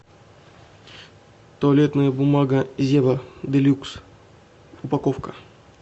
туалетная бумага зева делюкс упаковка